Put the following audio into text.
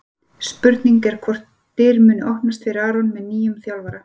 Spurning er hvort dyr muni opnast fyrir Aron með nýjum þjálfara?